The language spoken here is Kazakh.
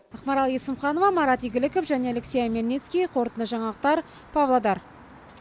ақмарал есімханова марат игіліков және алексей омельницкий қорытынды жаңалықтар павлодар